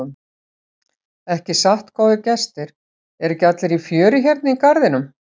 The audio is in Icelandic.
Ekki satt góðir gestir, eru ekki allir í fjöri hérna í garðinum?